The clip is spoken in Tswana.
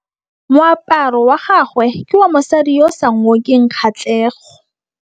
Moaparô wa gagwe ke wa mosadi yo o sa ngôkeng kgatlhegô.